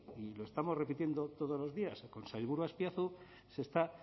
y lo estamos repitiendo todos los días con sailburu azpiazu se está